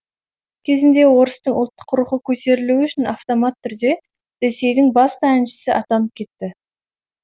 кезінде орыстың ұлттық рухы көтерілуі үшін автомат түрде ресейдің басты әншісі атанып кетті